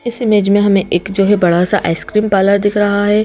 इस इमेज में हमें एक जो है बड़ा सा आइसक्रीम पालर दिख रहा है।